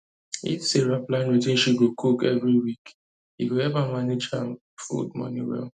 if sarah plan wetin she go cook every week e go help her manage food money well